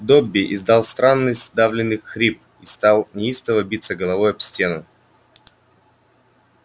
добби издал странный сдавленный хрип и стал неистово биться головой об стену